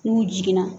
N'u jiginna